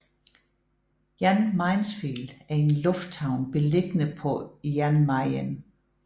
Jan Mayensfield er en lufthavn beliggende på Jan Mayen